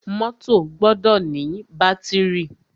Mọ́tọ̀ gbọdọ ní bátìrì.